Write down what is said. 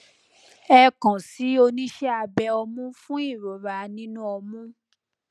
ẹ kan si oníṣe abe ọmú fún ìrora nínú ọmú